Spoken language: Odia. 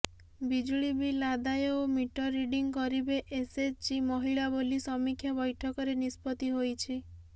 ବିଜୁଳି ବିଲ୍ ଆଦାୟ ଓ ମିଟର ରିଡିଂ କରିବେ ଏସଏଚଜି ମହିଳା ବୋଲି ସମୀକ୍ଷା ବୈଠକରେ ନିଷ୍ପତ୍ତି ହୋଇଛି